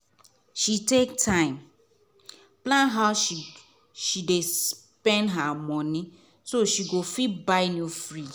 she take time plan how she dey spend her money so she go fit buy new fridge.